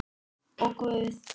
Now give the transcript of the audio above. Og Guð.